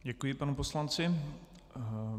Děkuji panu poslanci.